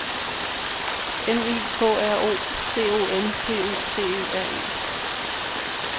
M I K R O C O M P U T E R E